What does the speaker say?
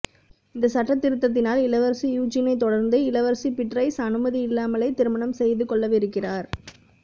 இந்த சட்ட திருத்தினால் இளவரசி யூஜினை தொடர்ந்து இளவரசி பீட்ரைஸ் அனுமதி இல்லாமலே திருமணம் செய்துகொள்ளவிருக்கிறார்